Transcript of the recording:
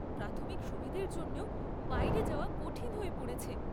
প্রাথমিক সুবিধের জন্যেও বাইরে যাওয়া কঠিন হয়ে পড়েছে।